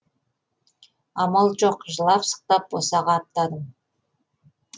амал жоқ жылап сықтап босаға аттадым